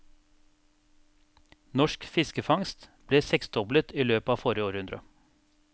Norsk fiskefangst ble seksdoblet i løpet av forrige århundre.